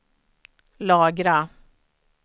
lagra